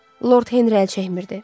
Lord Henri əl çəkmirdi.